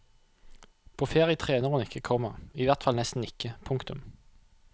På ferie trener hun ikke, komma i hvert fall nesten ikke. punktum